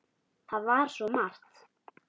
Það var svo margt.